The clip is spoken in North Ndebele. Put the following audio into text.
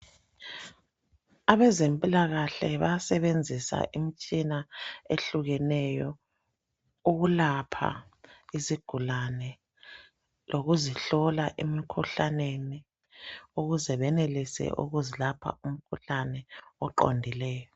Abezempilakahle bayasebenzisa imitshina ehlukeneyo ukulapha izigulane lokuzihlola emikhuhlaneni ukuze benelise ukuzilapha umkhuhlane oqondileyo.